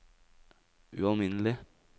ualminnelig